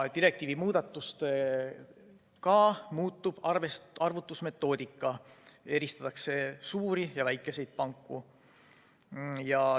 Direktiivi muudatusega muutub ka arvutusmetoodika, eristatakse suuri ja väikeseid panku.